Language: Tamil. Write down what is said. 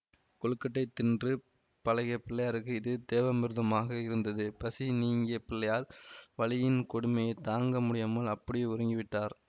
கொழுக்கட்டை தின்று பழகிய பிள்ளையாருக்கு இது தேவாமிருதமாக இருந்தது பசி நீங்கிய பிள்ளையார் வலியின் கொடுமையைத் தாங்க முடியாமல் அப்படியே உறங்கிவிட்டார்